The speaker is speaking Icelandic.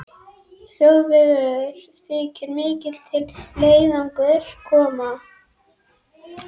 Þjóðverjum þykir mikið til leiðangursins koma.